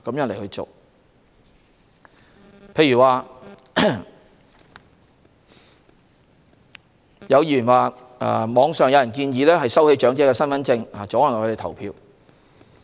例如，有議員指網上有人建議收起長者的身份證以阻礙他們投票。